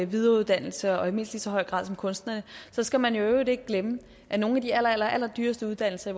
videreuddannelse og i mindst lige så høj grad som kunstnere og så skal man i øvrigt ikke glemme at nogle af de allerallerdyreste uddannelser